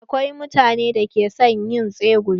Akwai mutanen da ke son yin tsegumi.